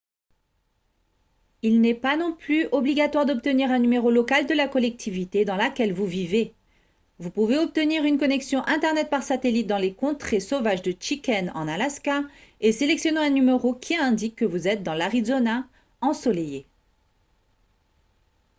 il n'est pas non plus obligatoire d'obtenir un numéro local de la collectivité dans laquelle vous vivez vous pouvez obtenir une connexion internet par satellite dans les contrées sauvages de chicken en alaska et sélectionner un numéro qui indique que vous êtes dans l'arizona ensoleillée